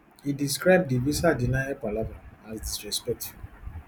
e describe di visa denial palava as disrespectful